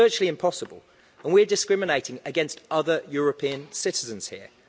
It's virtually impossible, and we are discriminating against other European citizens here.